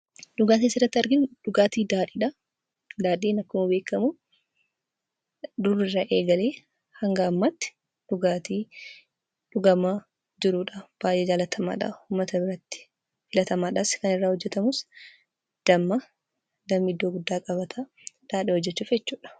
Dhugaatiin asirratti arginu, dhugaatii daadhiidha. Daadhiin akkuma beekamu duriirra eegalee hanga ammaatti dhugaatii dhugamaa jirudha. Baay'ee jaallatamaadha .Uummata biratti filatamadhas. Kan irraa hojjetamu damma. Dammi iddoo guddaa qabata ,daadhii hojjechuuf jechuudha.